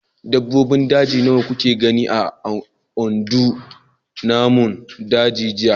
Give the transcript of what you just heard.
Dabbobin daji nawa kuka gani a gandun namun daji jiya?